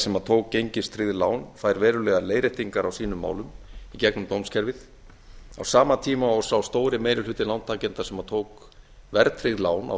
sem tók gengistryggð lán fær verulegar leiðréttingar á sínum málum í gegnum dómskerfið á sama tíma sem sá stóri meiri hluti lántakenda sem tók verðtryggð lán á